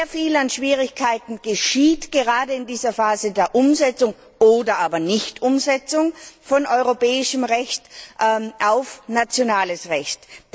Sehr viele Schwierigkeiten entstehen gerade in dieser Phase der Umsetzung oder aber Nichtumsetzung von europäischem Recht in nationales Recht.